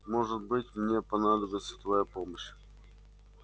может быть мне понадобится твоя помощь